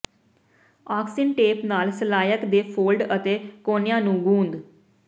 ਆਕਸੀਨ tape ਨਾਲ ਸਲਾਈਕ ਦੇ ਫੋਲਡ ਅਤੇ ਕੋਨਿਆਂ ਨੂੰ ਗੂੰਦ